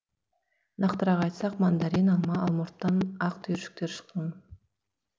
нақтырақ айтсақ мандарин алма алмұрттан ақ түйіршіктер шыққын